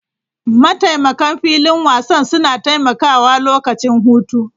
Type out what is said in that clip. Mataimakan filin wasan suna taimakawa lokacin hutu.